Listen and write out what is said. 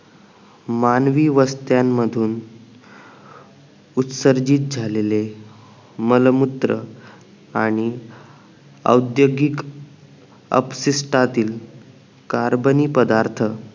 मानवी वस्त्यानमधून उत्सर्जित झालेले मलमूत्र आणि औद्द्योगिक अपसिस्टातील कार्बनी पदार्थ